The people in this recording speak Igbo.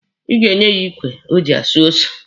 Ị ga-enye ya ikwe o ji asụ ose.